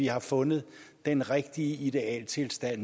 har fundet den rigtige ideelle tilstand